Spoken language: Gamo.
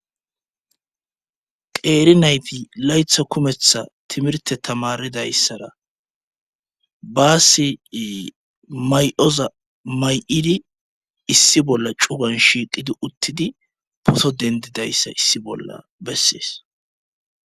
Qeeri nayti laytha kumetha timirte tamaridayssara baassi may7oza may7idi issi bolla cugan shiiqidi uttidi poto dendidayssa issi bolla bessees.